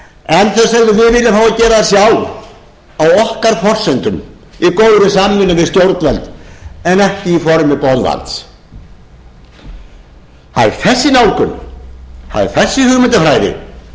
en þau sögðu við viljum fá að gera það sjálf á okkar forsendum í góðri samvinnu við stjórnvöld en ekki í formi boðvalds það er þessi nálgun þessi hugmyndafræði sem nú